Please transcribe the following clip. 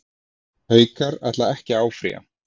Haukar ætla ekki að áfrýja